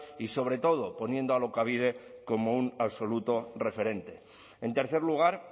y sobre todo poniendo alokabide como un absoluto referente en tercer lugar